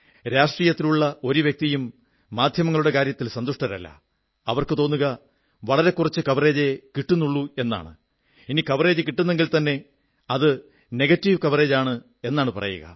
രാജനീതിയിലുള്ള ഒരു വ്യക്തിയും മാധ്യമങ്ങളുടെ കാര്യത്തിൽ സന്തുഷ്ടരല്ല അവർക്കു തോന്നുക വളരെ കുറച്ച് കവറേജേ കിട്ടുന്നുള്ളൂ എന്നാണ് ഇനി കവറേജ് കിട്ടുന്നെങ്കിൽത്തന്നെ അത് നെഗറ്റീവ് കവറേജാണ് എന്നാണ് പറയുക